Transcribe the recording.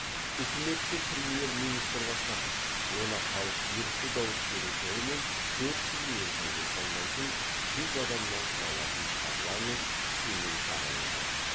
үкіметті премьер министр басқарады оны халық ерікті дауыс беру жолымен төрт жыл мерзімге сайлайтын жүз адамнан құралатын парламент сейм тағайындайды